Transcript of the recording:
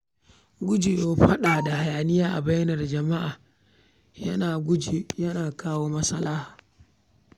Guje wa faɗa da hayaniya a bainar jama’a yana guje yana kawo maslaha.